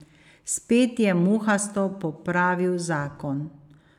Spet je muhasto popravil zakon.